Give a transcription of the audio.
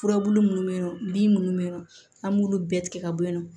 Furabulu munnu be yen nɔ bin munnu be ye nɔ an b'olu bɛɛ tigɛ ka bɔ yen nɔ